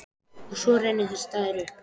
Og svo rennur þessi dagur upp.